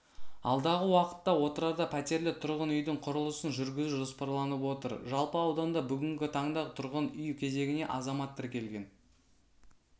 алдағы уақытта отырарда пәтерлі тұрғын үйдің құрылысын жүргізу жоспарланып отыр жалпы ауданда бүгінгі таңда тұрғын үй кезегіне азамат тіркелген